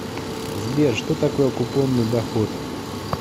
сбер что такое купонный доход